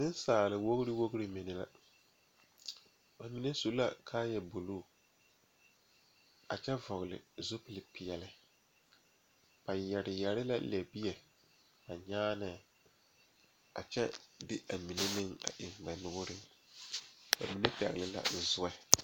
Kuriwiire la ka dɔɔba banuu a zɔŋ a a kuriwiire kaŋa eɛ ziɛ kyɛ taa peɛle kaa kuriwiire mine e sɔglɔ kyɛ ka konkobile fare a kuriwiire poɔ a e doɔre.